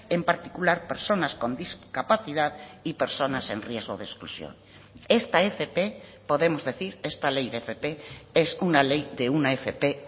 en particular personas con discapacidad y personas en riesgo de exclusión esta fp podemos decir esta ley de fp es una ley de una fp